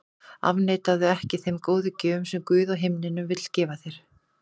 Afneitaðu ekki þeim góðu gjöfum sem Guð á himnum vill gefa þér.